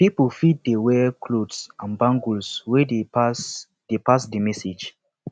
pipo fit de wear clothes and bangles wey de pass de pass di message